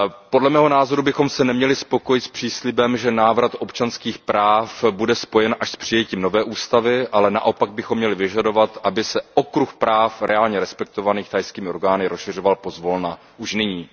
Podle mého názoru bychom se neměli spokojit s příslibem, že návrat občanských práv bude spojen až s přijetím nové ústavy, ale naopak bychom měli vyžadovat, aby se okruh práv reálně respektovaných thajskými orgány rozšiřoval pozvolna už nyní.